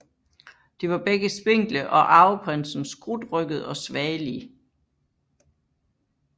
De var begge spinkle og arveprinsen skrutrygget og svagelig